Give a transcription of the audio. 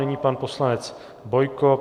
Nyní pan poslanec Bojko.